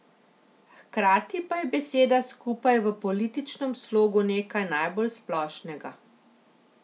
Hkrati pa je beseda skupaj v političnem sloganu nekaj najbolj splošnega.